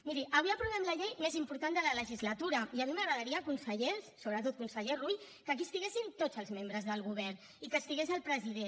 miri avui aprovem la llei més important de la legislatura i a mi m’agradaria consellers sobretot conseller rull que aquí estiguessin tots els membres del govern i que estigués el president